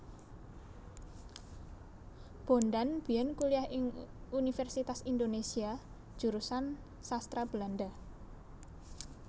Bondan biyen kuliah ing Universitas Indonesia Jurusan Sastra Belanda